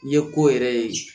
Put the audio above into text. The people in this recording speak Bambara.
N ye ko yɛrɛ ye